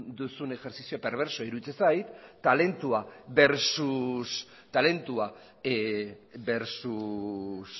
duzun ejerzizio perbersoa iruditzen zaitu talentua versus